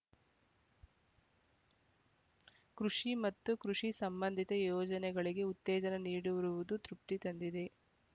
ಕೃಷಿ ಮತ್ತು ಕೃಷಿ ಸಂಬಂಧಿತ ಯೋಜನೆಗಳಿಗೆ ಉತ್ತೇಜನ ನೀಡಿರುವುದು ತೃಪ್ತಿ ತಂದಿದೆ